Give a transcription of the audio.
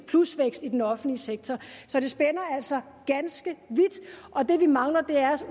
plusvækst i den offentlige sektor så det spænder altså ganske vidt og det vi mangler er